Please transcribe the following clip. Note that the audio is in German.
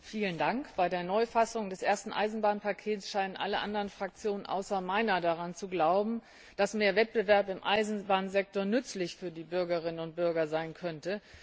Herr Präsident! Bei der Neufassung des ersten Eisenbahnpakets scheinen alle anderen Fraktionen außer meiner daran zu glauben, dass mehr Wettbewerb im Eisenbahnsektor für die Bürgerinnen und Bürger nützlich sein könnte.